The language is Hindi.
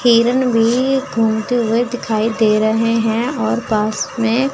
हिरण भी घूमते हुए दिखाई दे रहे हैं और पास में--